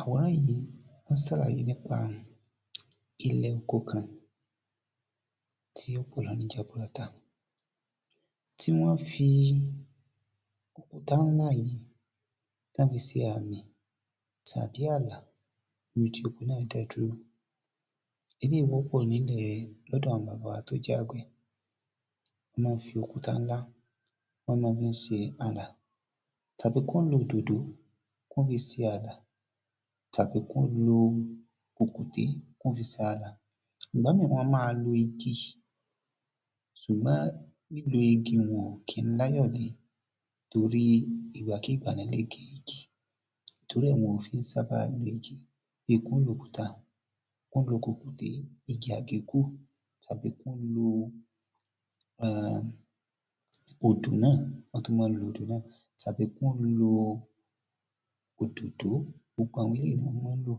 Àwòràn yìí ó ń sàlàyé nípa ilè oko kan tí ó pọ̀ jaburata, tí wọ́n fi òkúta ńlá yìí tán fi se àmì tàbí àlà níbi tí oko náà dé dúró. Eléyìí wọ́pọ̀ nílè lọ́dọ̀ àwọn bàbá wa tó jẹ́ àgbẹ̀, wọ́n má ń fi òkúta ńlá wọ́n mó fí ń se àlà tàbí kán lo òdòdó kán fi se àlà tàbí kán lo kùkùté kán fi se àlà. Ìgbà míràn wọn a má lo igi sùgbọ́n lílo igi un ò kí ń láyọ̀ lé torí ìgbàkíìgbà ni wọ́n lè gé igi torí ẹ̀ ni wọn kí ń sábà lo igi bí kán lòkúta kán lo kùkùté, igi àgékù, tàbí kí wọ́n lo[um] odù náà, wọ́n tún mọ́n lo odù náà tàbí kán lo òdòdó gbogbo àwọn eléyìí náà ni wọ́n mọ́n ń lò.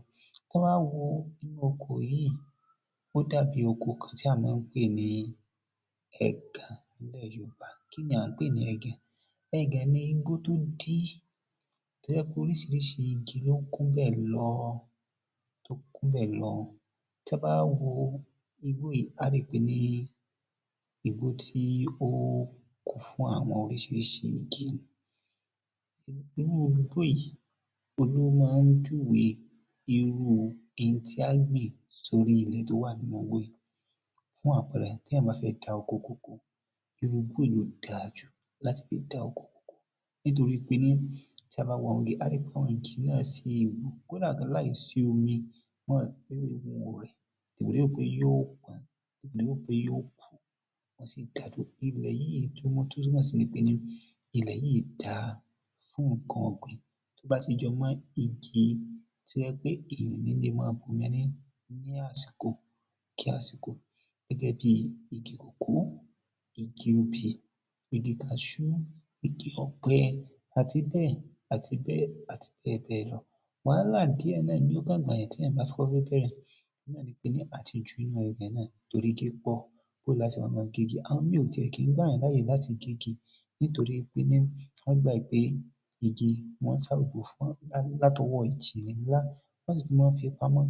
Tán bá wo inú oko yìí, ó dàbí oko kan tí à má ń pè ní ẹ̀gàn nílẹ̀ yoòbá. Kíni à ń pè ní ẹ̀gàn? Ẹgàn ni igbó tó dí, tó jẹ́ pé oríṣiríṣi igi ló kún bẹ̀ lọ tó kún bẹ̀ lọ, tí a bá wá wo igbó yìí á rí pé ní á rí pé ní igbó tí ó kún fún àwọn oríṣiríṣi igi ni. Irú igbó yìí òhun ló mọ́ ń júwe irú n tí á gbìn sórí ilè tí ó wà nínú igbó yìí fún àpẹrẹ tí èyàn bá fẹ́ dá oko kòkó, irú igbó yìí ló dá jù láti fi dá oko kòkó nítorípé ní tí a bá wo igi á rí pé àwọn igi náà sé kódà gan láì sí omi ewé wọn ò rẹ̀ dèpò dépò pé yó pọ́n dèpò dépò pé yó pọ́n wọ́n sí dá dúró. Ilẹ̀ yìí túnmọ̀ tó túnmọ̀ sí pé ní ilẹ̀ yìí dá fún nǹkan ọ̀gbìn tó bá ti jọ mó igi tí ó jẹ́ pé èyàn ò ní le mó bomi rín ní àsìkò kí àsìkò gẹ́gẹ́ bí igi kòkó, igi obì, igi kaṣú, igi ọ̀pẹ àti bẹ́ẹ̀ àti bẹ́ẹ̀ àti bẹ́ẹ̀ bẹ́ẹ̀ lọ. Wàhálà díẹ̀ náà ni ó kàn gbà yàn téyàn bá kọ́kọ́ fẹ́ bẹ̀rẹ̀ náà ni pé àti jó inú ilẹ̀ náà torí igi pọ̀ bó lá se wá mó gé igi. Àwọn míì ò tí ẹ̀ kí ń gbàyàn láyè láti gégi nítorípé ní wọ́n gbà wípé, igi mó ń sabòbò fún látọwó ìjì ńlá láti tún fí mọ́ ń fi pamọ́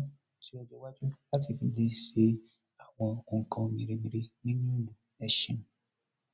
sí ọjọ́ iwájú láti le fi se àwọn ohun nǹkan mèremère nínú ìlú. Ẹṣé.